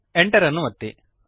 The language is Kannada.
Enter ಅನ್ನು ಒತ್ತಿರಿ